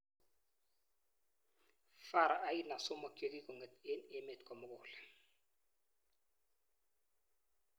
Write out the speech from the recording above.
Faru aina somok chekikong'et eng emeet komugul